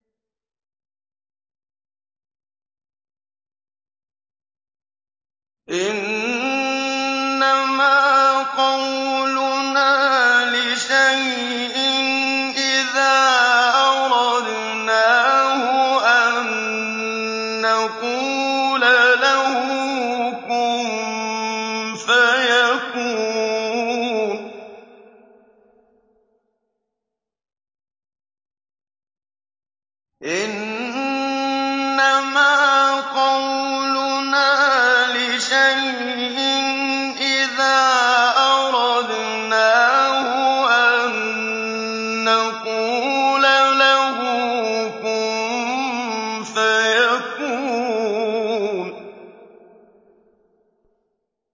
إِنَّمَا قَوْلُنَا لِشَيْءٍ إِذَا أَرَدْنَاهُ أَن نَّقُولَ لَهُ كُن فَيَكُونُ